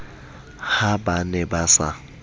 ha ba ne ba sa